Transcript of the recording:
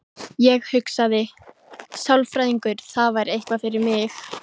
Ég hugsaði: sálfræðingur, það væri eitthvað fyrir mig.